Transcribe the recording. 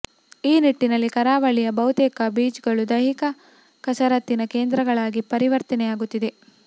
ಈ ನಿಟ್ಟಿನಲ್ಲಿ ಕರಾವಳಿಯ ಬಹುತೇಕ ಬೀಚ್ಗಳು ದೈಹಿಕ ಕಸರತ್ತಿನ ಕೇಂದ್ರಗಳಾಗಿ ಪರಿವರ್ತನೆಯಾಗುತ್ತಿದೆ